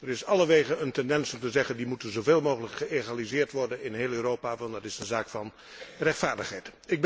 Er is allerwegen een tendens om te zeggen 'Die moeten zoveel mogelijk geëgaliseerd worden in heel Europa, want dat is een zaak van rechtvaardigheid.'